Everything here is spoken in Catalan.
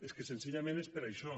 és que senzillament és per això